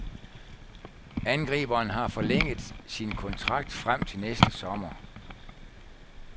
Angriberen har forlænget sin kontrakt frem til næste sommer.